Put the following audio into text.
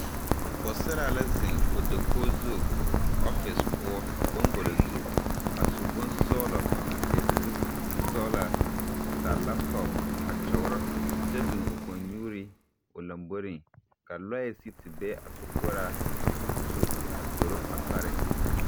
Pͻgesaraa la zeŋe o dakogi zu ͻfere poͻ, boŋgolo zu. A su bonsͻgelͻ a seԑ kuri sͻgelaa, a taa laapotͻpo a kyͻgerͻ kyԑ biŋ o kͻŋnyuuri o lomboriŋ. Ka lͻԑ be a sokoͻraa zu a zoro a pare.